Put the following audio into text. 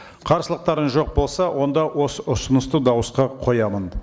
қарсылықтарыңыз жоқ болса онда осы ұсынысты дауысқа қоямын